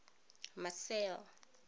marcel